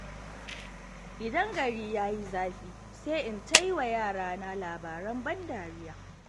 idan gari ya yi zafi, sai in ta yi wa yarana labaran ban dariya.